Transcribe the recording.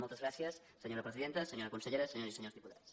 moltes gràcies senyora presidenta senyora consellera senyores i senyors diputats